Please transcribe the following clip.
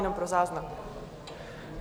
Jenom pro záznam.